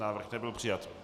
Návrh nebyl přijat.